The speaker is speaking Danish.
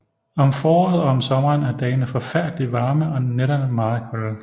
Om foråret og om sommeren er dagene forfærdeligt varme og nætterne meget kolde